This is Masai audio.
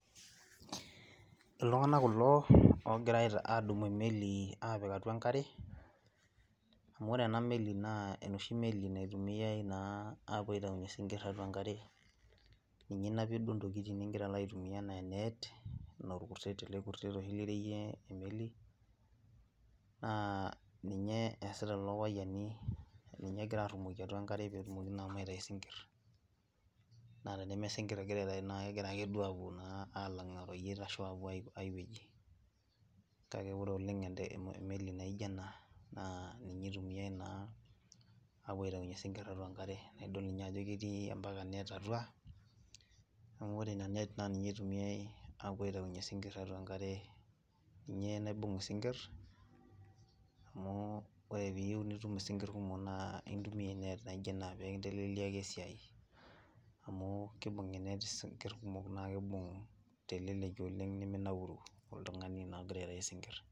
Iltunganak kulo ogira adumu emeli aapik atua enkare. Amu ena meli naa enoshi meli naitumiyai naa apuo aitainyue isinkirr tiatua enkare. Ninye inapie duo intokitin nilo aitumiya, enaa enet enaa olkuset ele kurset oshi oreyieki akeyei emeli naa ninye easita lelo payiani ninye egira aarumoki atua enkare peyie etumokini aitayu isinkir naa teneme sinkirr egira aitayu naa kegira akeduo aalankie aapoyie idiankae shoto. Kake ore oleng' emeli naijo ena naa ninye itumiyai naa aapuo aitainyue isinkirr tiatua enkare, idol ninye ajo ketii ambaka enet atua naa ore ina net naa ninye itumiyai aapuo aitainyue isinkirr tiatua enkare, ninye naibunk isinkirr, amu ore peyie iyieu niibunk isinkir kumok naa intumiya enet naijo ena mikintekeleliaki esiai amu kiibunk enet isinkirr kumok naa kiibunk teleleki oleng' niminaauru oltungani naa ogira aibunk isinkirr.